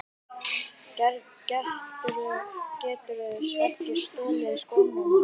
Geturðu ekki stolið skónum hans